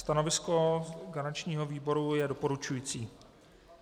Stanovisko garančního výboru je doporučující.